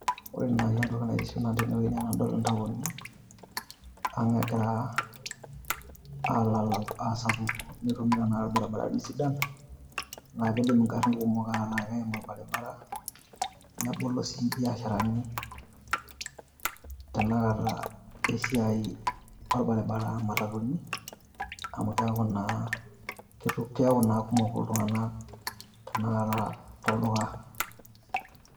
Ore naaji nanu entoki naitiship nanu tene wueji naa tenadol intaoni ang egira aa lalau, aasapuku, netumi tenakata ilbaribarani sidan. Naa kidim igarrin kumok etaa keim olbaribara nebolo sii imbiasharani tenakata e siai olbaribara aa matatuni amu keaku naa, keaku naa kumok iltung`anak tenakata tolduka.